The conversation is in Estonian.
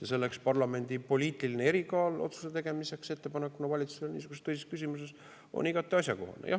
Ja selleks parlamendi poliitiline erikaal otsuste tegemiseks ettepanekuna valitsusele niisuguses tõsises küsimuses on igati asjakohane.